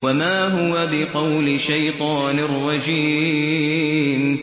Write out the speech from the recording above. وَمَا هُوَ بِقَوْلِ شَيْطَانٍ رَّجِيمٍ